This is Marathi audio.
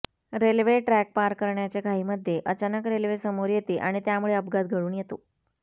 रेल्वे ट्रॅक पार करण्याच्या घाईमध्ये अचानक रेल्वे समोर येते आणि त्यामुळे अपघात घडून येतो